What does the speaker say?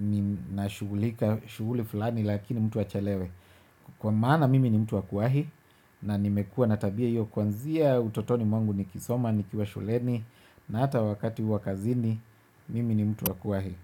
ninashugulika shughuli fulani lakini mtu achelewe. Kwa maana mimi ni mtu wa kuwahi na nimekua na tabia hiyo kwanzia utotoni mwangu nikisoma nikiwa shuleni na hata wakati huu wa kazini mimi ni mtu wa kuwahi.